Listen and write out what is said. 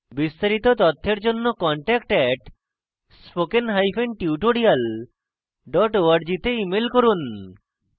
বিস্তারিত তথ্যের জন্য contact @spokentutorial org তে ইমেল করুন